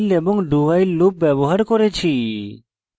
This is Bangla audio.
while এবং dowhile loop ব্যবহার করেছি